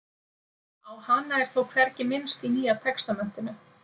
á hana er þó hvergi minnst í nýja testamentinu